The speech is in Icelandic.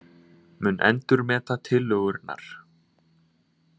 Mun endurmeta tillögurnar